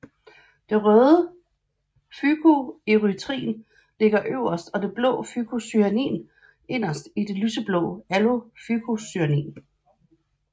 Det røde fykoerytrin ligger yderst og det blå fykocyanin inderst på det lyseblå allofykocyanin